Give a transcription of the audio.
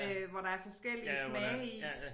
Øh hvor der er forskellige smage i